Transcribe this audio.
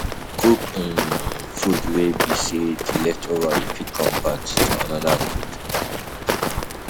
Cook food um wey be sey di leftover you fit convert to anoda food